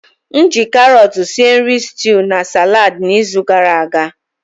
M ji karọt sie nri stuú na saladi n'izu gara aga.